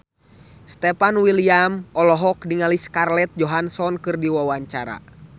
Stefan William olohok ningali Scarlett Johansson keur diwawancara